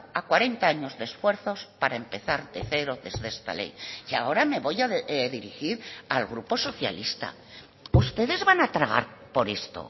a cuarenta años de esfuerzos para empezar de cero desde esta ley y ahora me voy a dirigir al grupo socialista ustedes van a tragar por esto